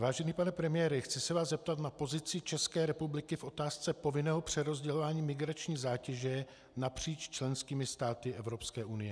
Vážený pane premiére, chci se vás zeptat na pozici České republiky v otázce povinného přerozdělování migrační zátěže napříč členskými státy Evropské unie.